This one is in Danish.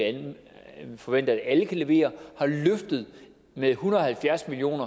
forventer at alle kan levere har løftet med en hundrede og halvfjerds million